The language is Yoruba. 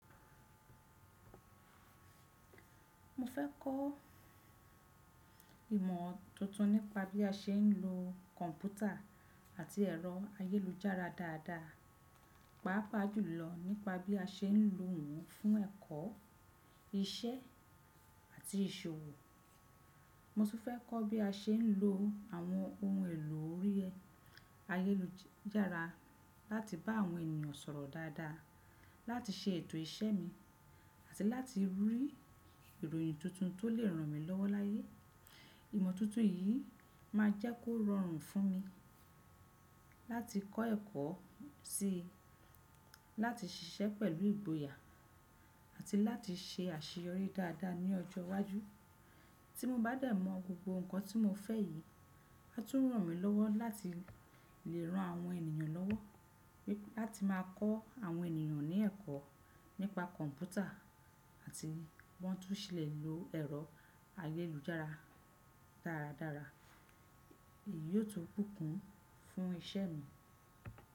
Mo fẹ́ kọ́ ìmọ̀ tuntun nípa bí a ṣe ń lo kọ̀ǹpútà àti ẹ̀rọ ayélujára dáadáa, pàápàá jùlọ nípa bí a ṣe ń lo òún fún ẹ̀kọ́, iṣẹ́ àti ìṣòwò. Mo sì fẹ́ kọ́ bí a ṣe ń lo àwọn ohun èlò orí ayélujára láti bá àwọn ènìyàn sọ̀rọ̀ dáadáa, láti ṣe ètò iṣẹ́ mi, àti láti rí ìròyìn tuntun tó lè ràn mí lọ́wọ́ láyé. Ìmọ̀ tuntun yìí máa jẹ́ kó rọrùn fún mi láti kọ́ ẹ̀kọ́, sí láti ṣiṣẹ́ pẹ̀lú ìgboyà àti láti ṣe àṣeyọrí dáadáa ní ọjọ́ iwájú. Tí mo bá dẹ̀ mọ̀ gbogbo nǹkan tí mo fẹ́ yìí, a tún ràn mí lọ́wọ́ láti lè ran àwọn ènìyàn lọ́wọ́, láti máa kọ́ àwọn ènìyàn ní ẹ̀kọ́ nípa kọ̀ǹpútà àti bí wọ́ntu ṣe lè lo ẹ̀rọ ayélujára dáradára. Èyí yóò tún búnkún fún iṣẹ́ mi.